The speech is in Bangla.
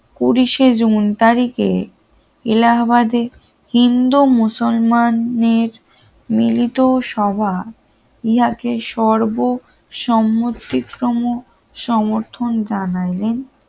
পুলিশে জুন তারিখে এলাহাবাদের হিন্দু-মুসলমানের মিলিত সভা ইহাকে সর্বসম্মতিক্রম সমর্থন জানালেন